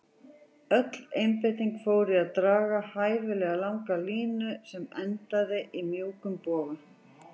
Öll einbeitingin fór í að draga hæfilega langa línu sem endaði í mjúkum boga.